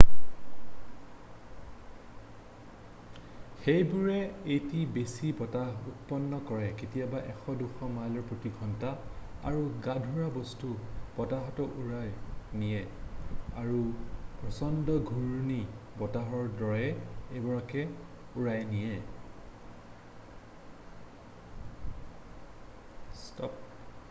সেইবোৰে অতি বেছি বতাহ উৎপন্ন কৰে কেতিয়াবা 100-200 মাইল/প্ৰতি ঘণ্টা আৰু গধুৰ বস্তুও বতাহত উৰুৱাই নিয়ে আৰু প্ৰচণ্ড ঘূৰ্ণী বতাহৰ দৰে এইবোৰক উৰুৱাই নিয়েয